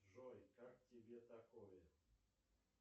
джой как тебе такое